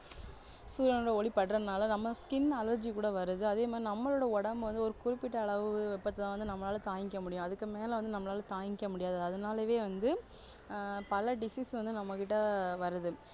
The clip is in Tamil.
சூரியானோட ஒளி படுறதுனால நம்ம skin allergy கூட வருது அதேமாதிரி நம்மளோட உடம்பு வந்து ஒரு குறிப்பிட்ட அளவு வெப்பத்தை வந்து நம்மளால தாங்கிக்க முடியும் அதுக்கு மேல வந்து நம்மளால தாங்கிக்க முடியாது அதனாலவே வந்து ஆஹ் பல disease வந்து நம்மக்கிட்ட வருது